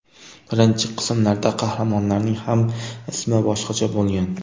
Birinchi qismlarda qahramonlarning ham ismi boshqacha bo‘lgan.